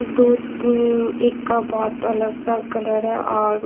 दो तीन एक अ बहोत अलग सा कलर हे और--